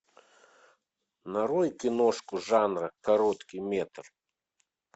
нарой киношку жанра короткий метр